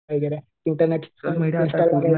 वगैरे इंटरनेट